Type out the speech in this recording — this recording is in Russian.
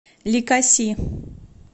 ликаси